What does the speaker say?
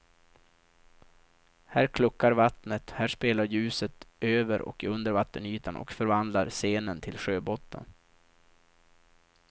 Här kluckar vattnet, här spelar ljuset över och under vattenytan och förvandlar scenen till sjöbotten.